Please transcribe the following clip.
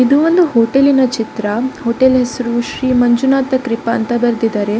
ಇದು ಒಂದು ಹೋಟೆಲ್ ನ ಚಿತ್ರ ಹೋಟೆಲ್ ನ ಹೆಸರು ಶ್ರೀ ಮಂಜುನಾಥ ಕೃಪಾ ಅಂತ ಬರೆದಿದ್ದಾರೆ.